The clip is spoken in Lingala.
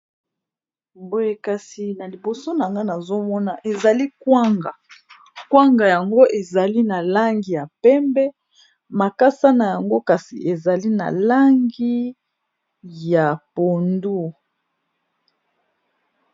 Boyekasi na liboso na nga nazomona ezali kwanga kwanga yango ezali na langi ya pembe makasa na yango kasi ezali na langi ya pondu